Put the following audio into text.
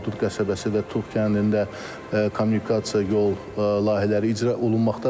Hadrut qəsəbəsi və Tuğ kəndində kommunikasiya, yol layihələri icra olunmaqdadır.